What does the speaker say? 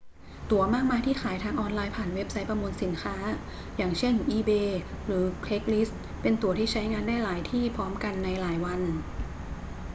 ตั๋วมากมายที่ขายทางออนไลน์ผ่านเว็บไซต์ประมูลสินค้า อย่างเช่น อีเบย์ หรือ เครกส์ลิสต์ เป็นตั๋วที่ใช้งานได้หลายที่พร้อมกันในหลายวัน